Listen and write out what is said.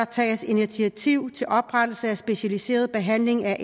tages initiativ til oprettelse af specialiseret behandling af